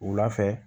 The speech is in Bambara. Wula fɛ